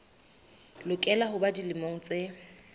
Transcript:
lokela ho ba dilemo tse